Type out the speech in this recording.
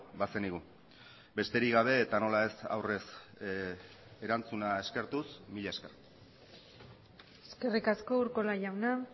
bazenigu besterik gabe eta nola ez aurrez erantzuna eskertuz mila esker eskerrik asko urkola jauna